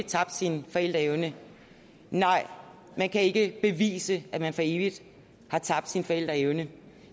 tabt sin forældreevne nej det kan ikke bevises at man for evigt har tabt sin forældreevne